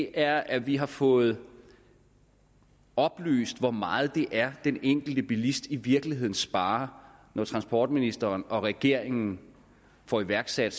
er at vi har fået oplyst hvor meget det er den enkelte bilist i virkeligheden sparer når transportministeren og regeringen får iværksat